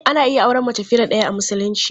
Ana iya auren mace fiye da ɗaya a Musulunci.